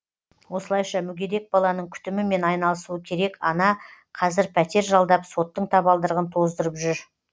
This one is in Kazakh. осылайша мүгедек баланың күтімімен айналысуы керек ана қазір пәтер жалдап соттың табалдырығын тоздырып жүр